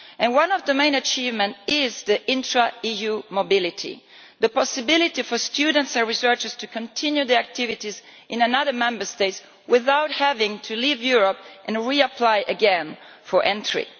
One of the main achievements is the intra-EU mobility, the possibility for students and researchers to continue their activities in another Member State without having to leave Europe and reapply again for entry.